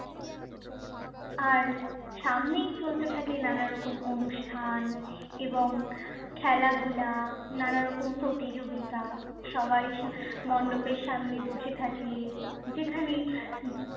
আর সামনেই চলতে থাকে নানা রকম অনুষ্ঠান এবং খেলাধুলা নানা রকম প্রতিযোগিতা সবাই সা~ মণ্ডপের সামনে বসে থাকে। যেখানেই